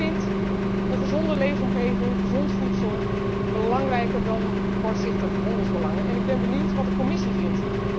Ik vind een gezonde leefomgeving, gezond voedsel belangrijker dan kortzichtige handelsbelangen en ik ben benieuwd wat de Commissaris vindt.